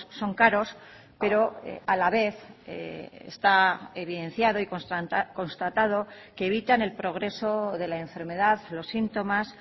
son caros pero a la vez está evidenciado y constatado que evitan el progreso de la enfermedad los síntomas